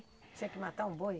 Tinha que matar um boi?